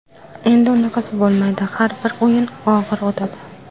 Endi unaqasi bo‘lmaydi, har bir o‘yin og‘ir o‘tadi.